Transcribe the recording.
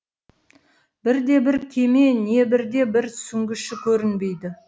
бірде бір кеме не бірде бір сүңгіші көрінбейді